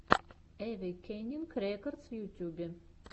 эвейкенинг рекордс в ютьюбе